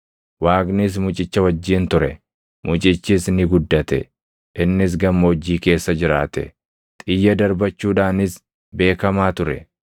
Waaqnis mucicha wajjin ture; mucichis ni guddate. Innis gammoojjii keessa jiraate; xiyya darbachuudhaanis beekamaa ture.